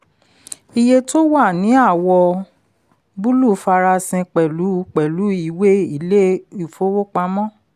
iye tó wà ní àwọ̀ búlù farasin pẹ̀lú pẹ̀lú ìwé ilé ìfowópamọ́.